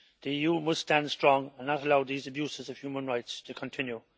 The EU must stand strong and not allow these abuses of human rights to continue.